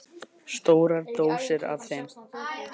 Stórar dósir af þeim.